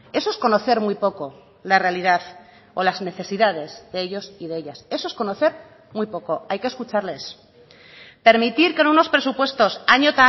eso es conocer muy poco la realidad o las necesidades de ellos y de ellas eso es conocer muy poco hay que escucharles permitir que en unos presupuestos año